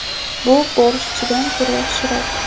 Bu borshchdan ko‘ra yaxshiroq.